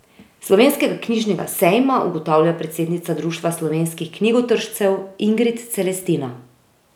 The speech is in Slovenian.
Slovenskega knjižnega sejma ugotavlja predsednica Društva slovenskih knjigotržcev Ingrid Celestina.